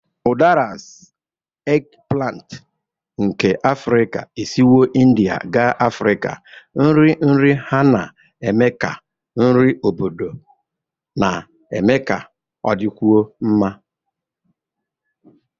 Udaras, eggplant nke Africa, esiwo India gaa Africa, nri nri ha na-eme ka nri obodo na-eme ka ọ dịkwuo mma.